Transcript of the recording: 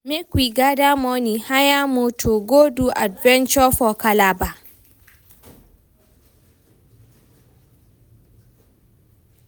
Make we gather money, hire moto, go do adventure for Calabar